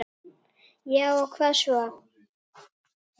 Já og hvað svo!